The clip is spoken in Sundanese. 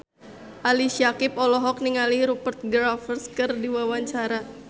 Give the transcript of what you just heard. Ali Syakieb olohok ningali Rupert Graves keur diwawancara